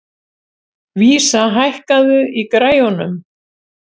Vísa, hækkaðu í græjunum.